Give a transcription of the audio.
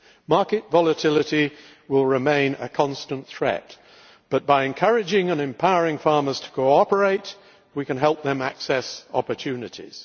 Market volatility will remain a constant threat but, by encouraging and empowering farmers to cooperate, we can help them access opportunities.